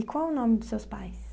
E qual o nome dos seus pais?